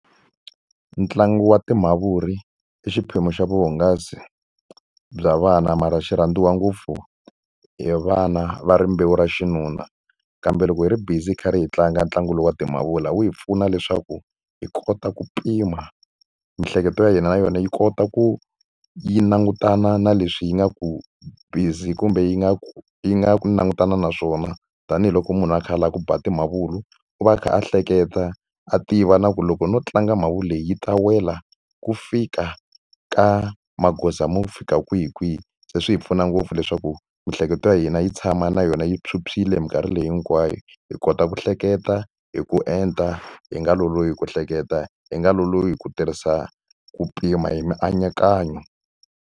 Ntlangu wa timavuri i xiphemu xa vuhungasi bya vana mara xi rhandziwa ngopfu hi vana va rimbewu ra xinuna. Kambe loko hi ri busy hi karhi hi tlanga ntlangu lowu wa timavuri wu hi pfuna leswaku hi kota ku pima. Miehleketo ya hina na yona yi kota ku yi langutana na leswi yi nga ku busy kumbe yi nga ku yi nga langutana na swona. Tanihiloko munhu a kha a lava ku ba ti mavulwa, u va a kha a hleketa a tiva na ku loko no tlanga mavuri leyi yi ta wela ku fika ka magoza mo fika kwihikwihi. Se swi hi pfuna ngopfu leswaku miehleketo ya hina yi tshama na yona yi phyuphyile hi minkarhi leyi hinkwayo, hi kota ku hleketa hi ku enta, hi nga lolohi ku hleketa, hi nga lolohi ku tirhisa ku pima hi mianakanyo.